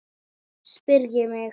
spyr ég mig.